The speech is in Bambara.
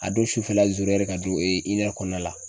A don sufɛla ka don kɔnɔna la.